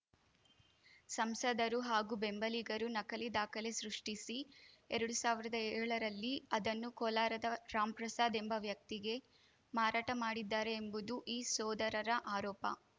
ಸಂಸದರು ಹಾಗೂ ಬೆಂಬಲಿಗರು ನಕಲಿ ದಾಖಲೆ ಸೃಷ್ಟಿಸಿ ಎರಡ್ ಸಾವಿರ್ದಾ ಏಳರಲ್ಲಿ ಅದನ್ನು ಕೋಲಾರದ ರಾಮ್‌ಪ್ರಸಾದ್‌ ಎಂಬ ವ್ಯಕ್ತಿಗೆ ಮಾರಾಟ ಮಾಡಿದ್ದಾರೆ ಎಂಬುದು ಈ ಸೋದರರ ಆರೋಪ